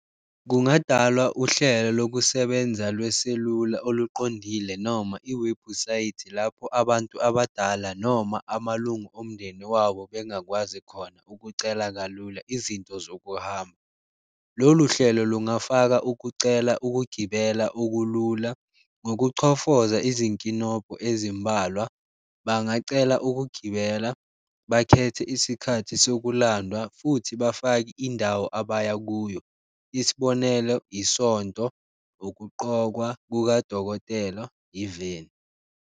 Kungadalwa uhlelo lokusebenza lweselula oluqondile noma iwebhusayithi lapho abantu abadala, noma amalungu omndeni wawo bengakwazi khona ukucela kalula izinto zokuhamba. Lolu hlelo lungafaka ukucela ukugibela okulula ngokuchofoza izinkinobho ezimbalwa, bangacela ukugibela, bakhethe isikhathi sokulandwa futhi bafake indawo abaya kuyo isibonelo, isonto, ukuqokwa kukadokotela, .